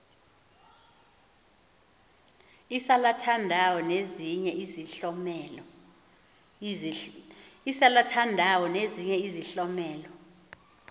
isalathandawo nezinye izihlomelo